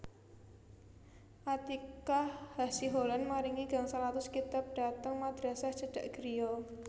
Atiqah Hasiholan maringi gangsal atus kitab dhateng madrasah cedhak griya